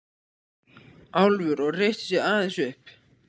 Álfur og reisti sig aðeins upp.